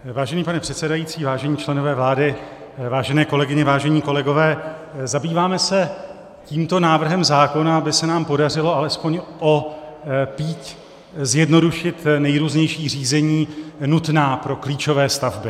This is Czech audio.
Vážený pane předsedající, vážení členové vlády, vážené kolegyně, vážení kolegové, zabýváme se tímto návrhem zákona, aby se nám podařilo alespoň o píď zjednodušit nejrůznější řízení nutná pro klíčové stavby.